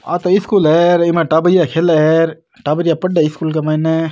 आ तो स्कूल है इक माय टाबरिया खेले है टाबरिया पढ़े स्कूल के मायने।